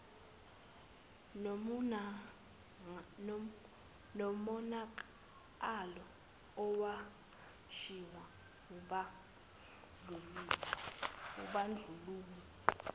nomonakalo owashiywa wubandlululo